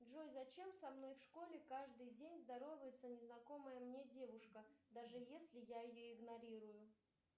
джой зачем со мной в школе каждый день здоровается незнакомая мне девушка даже если я ее игнорирую